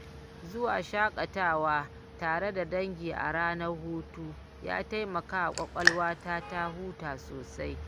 Zuwa shakatawa tare da dangi a ranar hutu ya taimaka wa ƙwaƙwalwata ta huta sosai.